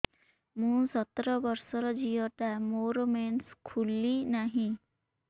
ମୁ ସତର ବର୍ଷର ଝିଅ ଟା ମୋର ମେନ୍ସେସ ଖୁଲି ନାହିଁ